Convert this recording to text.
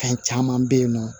Fɛn caman bɛ yen nɔ